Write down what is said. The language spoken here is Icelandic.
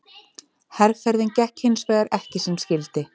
Herferðin gekk hins vegar ekki sem skyldi.